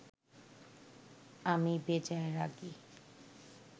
আমি বেজায় রাগী